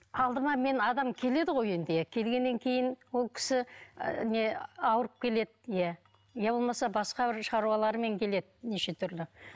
алдыма мен адам келеді ғой енді иә келгеннен кейін ол кісі ы не ауырып келеді иә иә болмаса басқа бір шаруалармен келеді неше түрлі